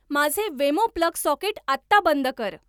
माझे Wemo plug socket आत्ता बंद कर